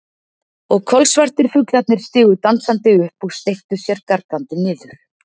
Og kolsvartir fuglarnir stigu dansandi upp og steyptu sér gargandi niður.